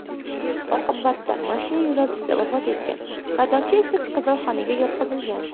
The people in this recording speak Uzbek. Oqibatda mashina yo‘lovchisi vafot etgan, haydovchi esa kasalxonaga yotqizilgan.